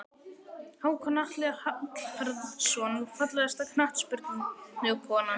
Hákon Atli Hallfreðsson Fallegasta knattspyrnukonan?